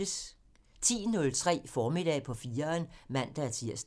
10:03: Formiddag på 4'eren (man-tir)